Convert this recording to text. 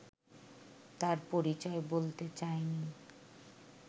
তার পরিচয় বলতে চায়নি